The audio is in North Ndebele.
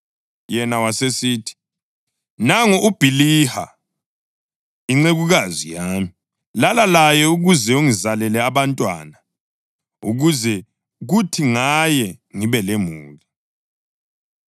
Yena wasesithi, “Nangu uBhiliha incekukazi yami. Lala laye ukuze angizalele abantwana, ukuze kuthi ngaye ngibe lemuli.”